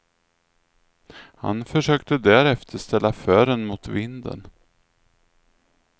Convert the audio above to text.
Han försökte därefter ställa fören mot vinden.